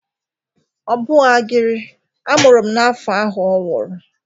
Ọ bụchagịrị. A mụrụ m n'afọ ahụ ọ nwụrụ.